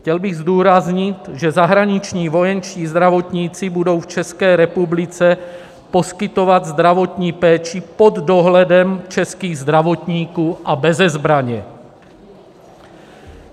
Chtěl bych zdůraznit, že zahraniční vojenští zdravotníci budou v České republice poskytovat zdravotní péči pod dohledem českých zdravotníků a beze zbraně.